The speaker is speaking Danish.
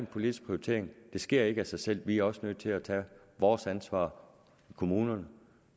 politisk prioritering det sker ikke af sig selv vi er også nødt til at tage vores ansvar i kommunerne